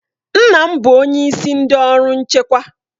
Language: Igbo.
Nna m bụ onyeisi ndị ọrụ nchekwa.